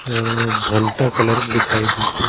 अ भनटा कलर दिखाई देत है।